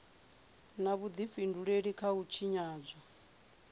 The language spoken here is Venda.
na vhudifhinduleli kha u tshinyadzwa